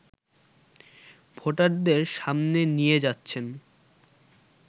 ভোটারদের সামনে নিয়ে যাচ্ছেন